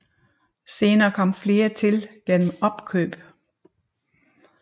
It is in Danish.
Senere kom flere til gennem opkøb